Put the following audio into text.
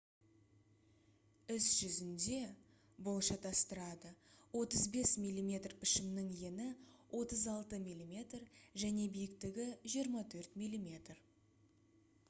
іс жүзінде бұл шатастырады 35 мм пішімінің ені 36 мм және биіктігі 24 мм